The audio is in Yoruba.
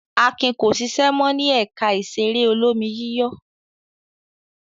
Akin ko ṣiṣẹ́ mọ́ ní ẹ̀ka ìṣeré olómi-yíyọ̀.